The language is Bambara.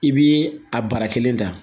I bi a bara kelen ta